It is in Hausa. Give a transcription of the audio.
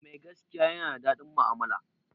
Mai gaskiya ya na daɗin mu'amala